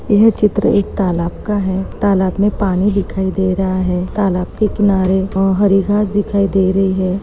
यह चित्र एक तालाब का है तालाब मे पानी दिखाई दे रहा है तालाब के किनारे अ-हरी घास दिखाई दे रही है।